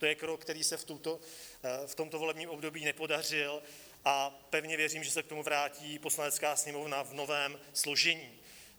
To je krok, který se v tomto volebním období nepodařil, a pevně věřím, že se k tomu vrátí Poslanecká sněmovna v novém složení.